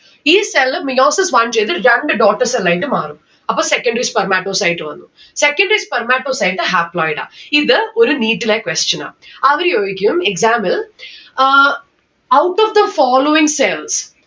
ഈ cell Meiosis one ചെയ്ത് രണ്ട്‌ daughter cell ആയിട്ട് മാറും അപ്പോൾ secondary spermatocyte വന്നു. secondary spermatocyte haploid ആ ഇത് ഒരു NEET ലെ question ആ. അവര് ചോയ്ക്കും exam ൽ ഏർ out of the following cells